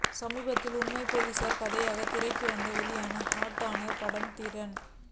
சமீபத்தில் உண்மை போலீஸ் கதையாக திரைக்கு வந்து பெரிய ஹிட் ஆன படம் தீரன்